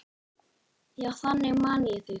Já, þannig man ég þig.